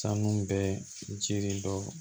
Sanu bɛ jiri dɔ